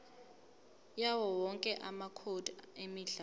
yawowonke amacode emidlalo